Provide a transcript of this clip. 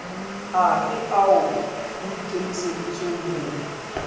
afe ao ho ikemiseditsweng ho